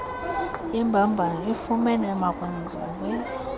yembambano ifunyenwe emakwenziwe